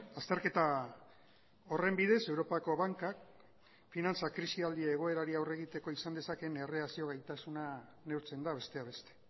azterketa horren bidez europako bankak finantza krisialdi egoerari aurre egiteko izan dezakeen erreakzio gaitasuna neurtzen da besteak beste